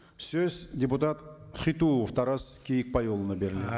сөз депутат хитуов тарас киікбайұлына